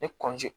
Ne